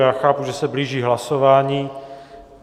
Já chápu, že se blíží hlasování.